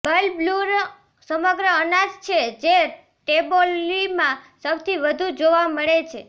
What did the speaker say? બલ્બૂર સમગ્ર અનાજ છે જે ટેબોલીમાં સૌથી વધુ જોવા મળે છે